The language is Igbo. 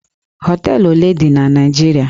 Hóteélụ̀ ole dị na Naịjirịa?